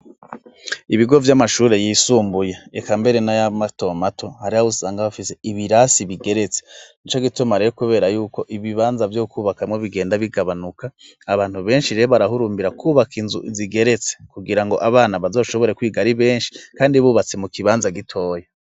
Ibigo vy'amashure yisumbuye eka mbere na mato mato hari aho usanga hafise ibirasi bigeretse nico gituma rero kubera yuko ibibanza vyo kubakamwo bigenda bigabanuka abantu benshi barahurumbira kubaka inzu zigeretse kugira ngo abana bazoshobore kwiga ari benshi kandi bubatse mu kibanza gitoya.